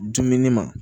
Dumuni ma